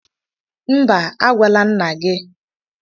Mba, agwala nna gị